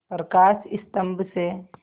प्रकाश स्तंभ से